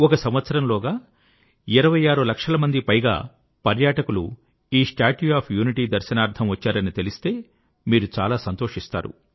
ఒక సంవత్సరంలోగా 26 లక్షలకు పైగా పర్యాటకులు ఈ స్టాట్యూ ఆఫ్ యూనిటీ దర్శనార్థం వచ్చారని తెలిస్తే మీరు చాలా సంతోషిస్తారు